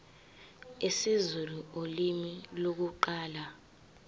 isizulu ulimi lokuqala